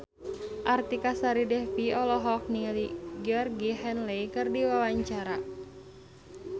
Artika Sari Devi olohok ningali Georgie Henley keur diwawancara